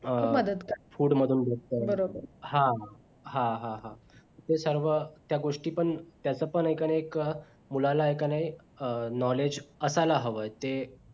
food मधून भेटतय हा हा हा ते सर्व त्या गोष्टी पण त्याच्या पण एकाने एक मुलाला ऐकणे knowledge असायला हवाय ते